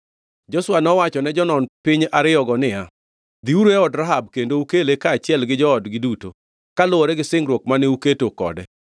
Joshua nowachone jonon piny ariyogo niya, “Dhiuru e od Rahab kendo ukele kaachiel gi joodgi duto, kaluwore gi singruok mane uketo kode.”